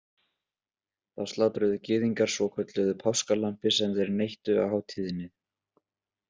Þá slátruðu Gyðingar svokölluðu páskalambi sem þeir neyttu á hátíðinni.